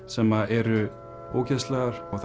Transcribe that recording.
sem eru ógeðslegar og